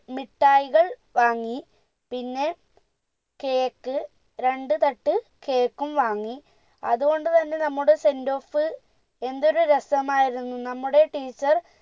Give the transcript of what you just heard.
മിഠായികൾ വാങ്ങി പിന്നെ cake രണ്ട് തട്ട് cake ഉം വാങ്ങി അതുകൊണ്ട് തന്നെ നമ്മുടെ sendoff എന്തൊരു രസമായിരുന്നു നമ്മുടെ teacher